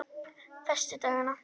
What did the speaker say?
föstudagana